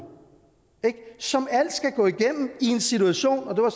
som alt skal gå igennem i en situation og det var